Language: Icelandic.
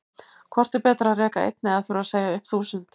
Hvort er betra að reka einn eða þurfa að segja upp þúsund?